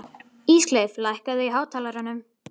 Ísleif, lækkaðu í hátalaranum.